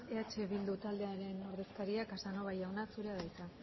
eh bildu taldearen ordezkaria casanova jauna zurea da hitza